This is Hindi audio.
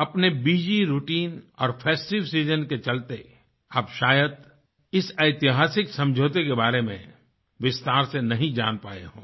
अपने बसी routineऔर फेस्टिव सीजन के चलते आप शायद इस ऐतिहासिक समझौते के बारे में विस्तार से नहीं जान पाए हों